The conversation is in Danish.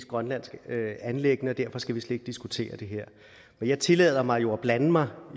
grønlandsk anliggende og derfor skal vi slet ikke diskutere det her men jeg tillader mig jo side at blande mig